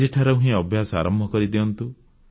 ଆଜିଠାରୁ ହିଁ ଅଭ୍ୟାସ ଆରମ୍ଭ କରିଦିଅନ୍ତୁ